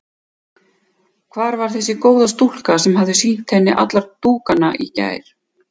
Hvar var þessi góða stúlka sem hafði sýnt henni alla dúkana í gær?